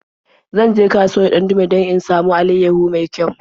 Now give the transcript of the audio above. Zan je kasuwar Dandume don in samo alaiyahu mai kyau.